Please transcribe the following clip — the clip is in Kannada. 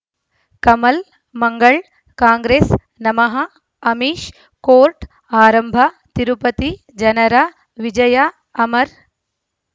ಕಮಲ್ ಮಂಗಳ್ ಕಾಂಗ್ರೆಸ್ ನಮಃ ಅಮಿಷ್ ಕೋರ್ಟ್ ಆರಂಭ ತಿರುಪತಿ ಜನರ ವಿಜಯ ಅಮರ್